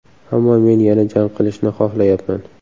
Ammo men yana jang qilishni xohlayapman.